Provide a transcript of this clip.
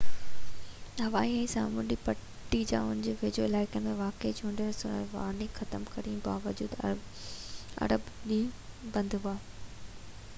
هوائي ۾ سامونڊي پٽي يا ان جي ويجهو علائقن ۾ واقع چوڏهن اسڪول وارننگ ختم ڪرڻ جي باوجود اربع ڏينهن بند هئا